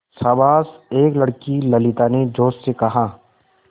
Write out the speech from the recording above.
शाबाश एक लड़की ललिता ने जोश से कहा